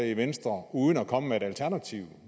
i venstre uden at komme med et alternativt